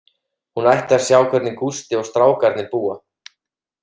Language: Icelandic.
Hún ætti að sjá hvernig Gústi og strákarnir búa.